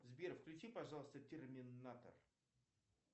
сбер включи пожалуйста терминатор